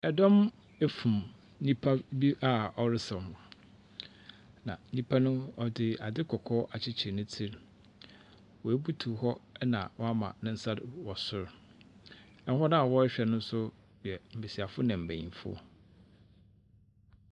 Ɛdɔm afum nipa bi a ɔresaw ho. Na nipa no ɔde ade kɔkɔɔ akyekyer ne tsi. Wabutuw hɔ na wama ne nsa do wɔ sor. Na hɔn a wɔrehwɛ no no yɛ mbesiafo na mbenyinfo.